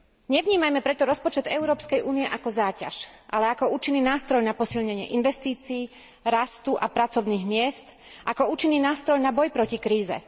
Nevnímajme preto rozpočet Európskej únie ako záťaž, ale ako účinný nástroj na posilnenie investícií, rastu a pracovných miest, ako účinný nástroj na boj proti kríze.